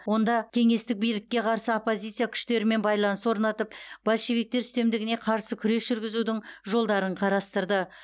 онда кеңестік билікке қарсы оппозиция күштермен байланыс орнатып большевиктер үстемдігіне қарсы күрес жүргізудің жолдарын қарастырды